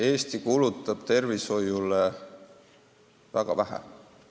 Eesti kulutab tervishoiule väga vähe.